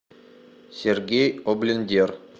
сергей облендер